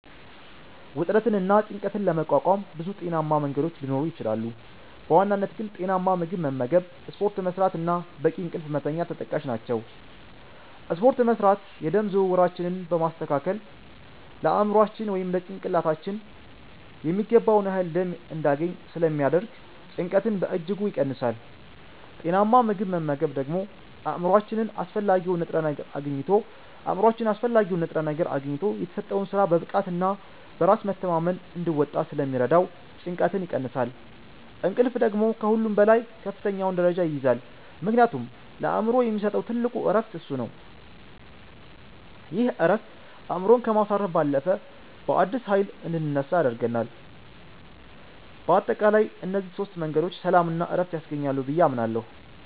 ውጥረትንና ጭንቀትን ለመቋቋም ብዙ ጤናማ መንገዶች ሊኖሩ ይችላሉ፤ በዋናነት ግን ጤናማ ምግብ መመገብ፣ ስፖርት መስራት እና በቂ እንቅልፍ መተኛት ተጠቃሽ ናቸው። ስፖርት መስራት የደም ዝውውራችንን በማስተካከል ለአእምሯችን (ጭንቅላታችን) የሚገባውን ያህል ደም እንዲያገኝ ስለሚያደርግ ጭንቀትን በእጅጉ ይቀንሳል። ጤናማ ምግብ መመገብ ደግሞ አእምሯችን አስፈላጊውን ንጥረ ነገር አግኝቶ የተሰጠውን ሥራ በብቃትና በራስ መተማመን እንዲወጣ ስለሚረዳው ጭንቀትን ይቀንሳል። እንቅልፍ ደግሞ ከሁሉም በላይ ከፍተኛውን ደረጃ ይይዛል፤ ምክንያቱም ለአእምሮ የሚሰጠው ትልቁ ዕረፍት እሱ ነው። ይህ ዕረፍት አእምሮን ከማሳረፍ ባለፈ፣ በአዲስ ኃይል እንድንነሳ ያደርገናል። በአጠቃላይ እነዚህ ሦስት መንገዶች ሰላምና ዕረፍት ያስገኛሉ ብዬ አምናለሁ።